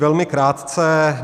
Velmi krátce.